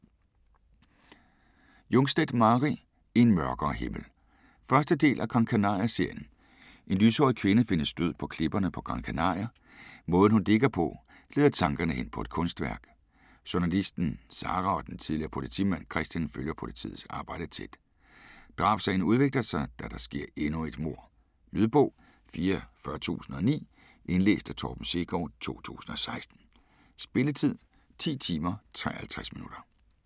Jungstedt, Mari: En mørkere himmel 1. del af Gran Canaria serien. En lyshåret kvinde findes død på klipperne på Gran Canaria. Måden hun ligger på, leder tankerne hen på et kunstværk. Journalisten Sara og den tidligere politimand Kristian følger politiets arbejde tæt. Drabssagen udvikler sig, da der sker endnu et mord. Lydbog 44009 Indlæst af Torben Sekov, 2016. Spilletid: 10 timer, 53 minutter.